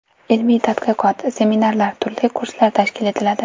Ilmiy-tadqiqot, seminarlar, turli kurslar tashkil etiladi.